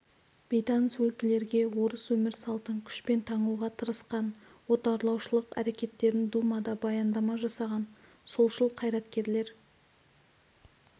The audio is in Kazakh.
бейтаныс өлкелерге орыс өмір салтын күшпен таңуға тырысқан отарлаушылық әрекеттерін думада баяндама жасаған солшыл қайраткерлер